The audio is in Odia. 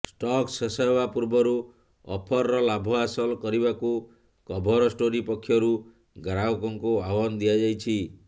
ଷ୍ଟକ ଶେଷ ହେବା ପୂର୍ବରୁ ଅଫରର ଲାଭ ହାସଲ କରିବାକୁ କଭର ଷ୍ଟୋରି ପକ୍ଷରୁ ଗ୍ରାହକଙ୍କୁ ଆହ୍ବାନ ଦିଆଯାଇଛି